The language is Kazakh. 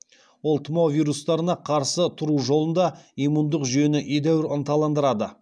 ол тұмау вирустарына қарсы тұру жолында иммундық жүйені едәуір ынталандырады